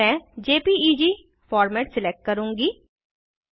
मैं JPEG format select करूँगी